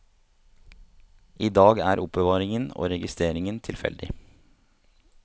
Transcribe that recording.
I dag er er oppbevaringen og registreringen tilfeldig.